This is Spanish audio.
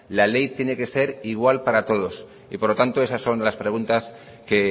la ley tiene que ser igual para todos y por lo tanto esas son las preguntas que